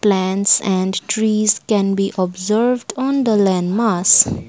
plants and trees can be observe on the land mass.